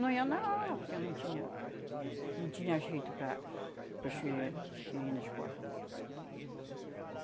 Não iam na aula porque não tinha não tinha jeito para para os filho irem na escola.